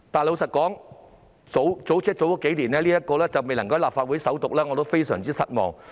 老實說，在數年前，相關法案未能在立法會會議上首讀，令我非常失望。